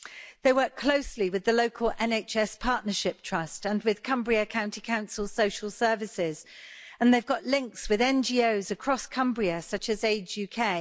They work closely with the local NHS Partnership Trust and with Cumbria County Council social services and they've got links with NGOs across Cumbria such as Age UK.